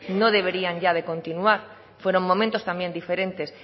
no deberían ya de continuar fueron momentos también diferentes